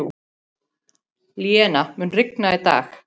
Linnea, mun rigna í dag?